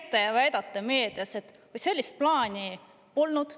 Te käite ja väidate meedias, et sellist plaani polnud.